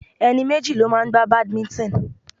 Ẹni méjì ló máa ń gbá badminton.